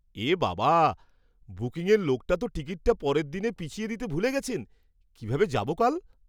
এ বাবা! বুকিংয়ের লোকটা তো টিকিটটা পরের দিনে পিছিয়ে দিতে ভুলে গেছেন। কিভাবে যাবো কাল?